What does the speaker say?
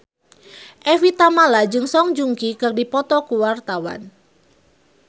Evie Tamala jeung Song Joong Ki keur dipoto ku wartawan